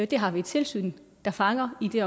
det har vi et tilsyn der fanger i